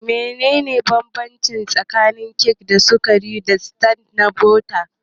Menene bambanci tsakanin kek ɗin sukari da tart na bota?